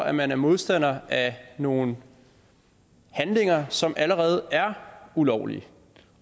at man er modstander af nogle handlinger som allerede er ulovlige